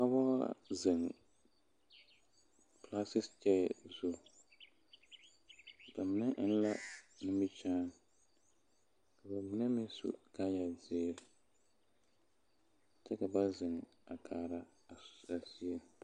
Dɔbɔ la zeŋ pelaasekyeɛyɛ zu ba mine eŋ la nimikyaani ka ba mine meŋ su kaaya zeere kyɛ ka ba zeŋ a kaara a so a soe.